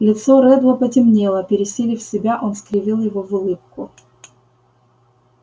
лицо реддла потемнело пересилив себя он скривил его в улыбку